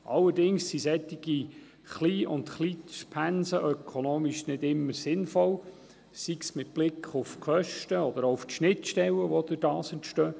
Allerdings sind solche Klein- und Kleinstpensen ökonomisch nicht immer sinnvoll, sei es mit Blick auf die Kosten oder auch auf die Schnittstellen, die dadurch entstehen.